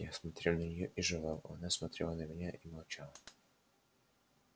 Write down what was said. я смотрел на неё и жевал она смотрела на меня и молчала